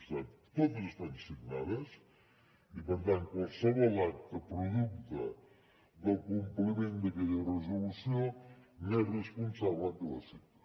per tant totes estan signades i per tant qualsevol acta producte del compliment d’aquella resolució n’és responsable el que la signa